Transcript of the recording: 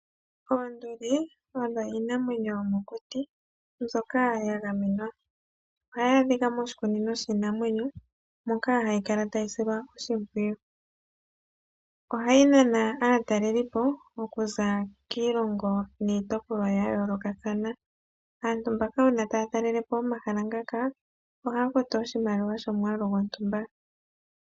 Oonduli odho iinamwenyo yomokuti mbyoka yagamenwa. Ohayi adhika moshikunino shiinamwenyo moka ha kala tayi silwa oshimpwiyu. Ohayi nana okuza kiilongo niitopolwa yayoolokathana. Aantu mbaka uuna taya talelepo omahala ngaka ohaya futu oshimpwiyu shomwaalu gontumba.